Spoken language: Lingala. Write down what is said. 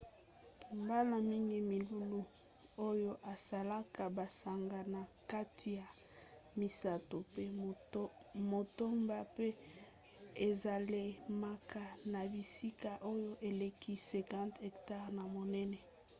mbala mingi milulu oyo esalaka basanza na kati ya misato mpe motoba mpe esalemaka na bisika oyo eleki 50 hectare na monene